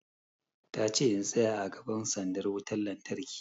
Ta ce in tsaya a gaban sandar wutan lantarki!